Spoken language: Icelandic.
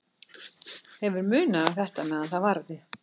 Hefur munað um þetta meðan það varði.